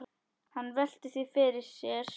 Hann veltir því fyrir sér.